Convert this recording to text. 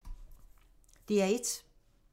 DR1